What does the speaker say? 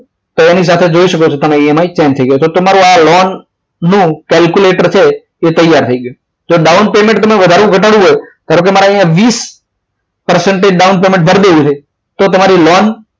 તો એની સાથે જોઈ શકો છો તમે EMI change થઈ ગયા છે તમારું આ લોન નું કેલ્ક્યુલેટર છે એ તૈયાર થઈ ગયો તો down payment તમે ઘટાડવું હોય ધારો કે અહીંયા વીસ percentage down payment ભરી દેવું હોય તો તમારી લોન